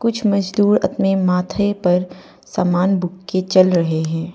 कुछ मजदूर अपने माथे पर सामान बुक के चल रहे हैं।